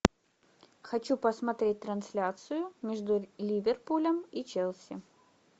хочу посмотреть трансляцию между ливерпулем и челси